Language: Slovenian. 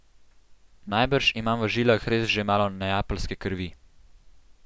Najbrž imam v žilah res že malo neapeljske krvi!